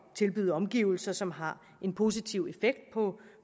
tilbyde omgivelser som har en positiv effekt på